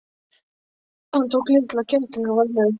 Hann tók litla kettlinginn varlega upp.